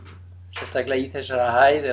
sérstaklega í þessari hæð